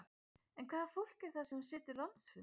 En hvaða fólk er það sem situr landsfund?